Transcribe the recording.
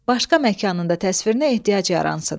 Başqa məkanın da təsvirinə ehtiyac yaransın.